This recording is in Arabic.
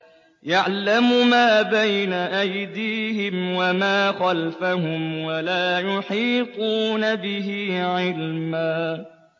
يَعْلَمُ مَا بَيْنَ أَيْدِيهِمْ وَمَا خَلْفَهُمْ وَلَا يُحِيطُونَ بِهِ عِلْمًا